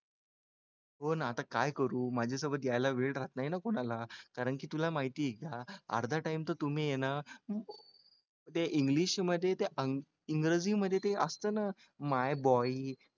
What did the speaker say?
हो ना आता काय करू माझ्यासोबत यायला वेळ राहत नाही ना कोणाला, कारण की तुला माहिती आहे का अर्धा time तर तुम्ही आहे ना ते english मध्ये ते इंग्रजीमध्ये ते असतं ना my boy